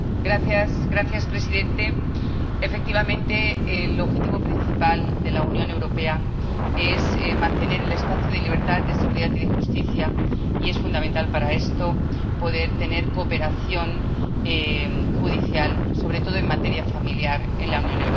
Señor presidente, efectivamente, el objetivo principal de la Unión Europea es mantener el espacio de libertad, de seguridad y de justicia, y es fundamental para esto poder tener cooperación judicial, sobre todo en materia familiar, en la Unión Europea.